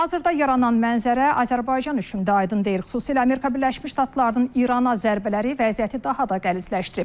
Hazırda yaranan mənzərə Azərbaycan üçün də aydın deyir, xüsusilə Amerika Birləşmiş Ştatlarının İrana zərbələri vəziyyəti daha da qəlizləşdirib.